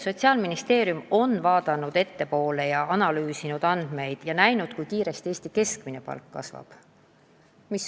Sotsiaalministeerium on vaadanud ettepoole, analüüsinud andmeid ja prognoosinud, kui kiiresti Eesti keskmine palk kasvab.